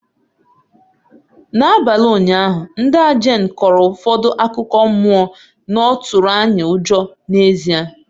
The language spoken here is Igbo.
N'abalị ụnyaahụ, ndaa Jane kọrọ ụfọdụ akụkọ mmụọ na ọ tụrụ anyị ụjọ n'ezie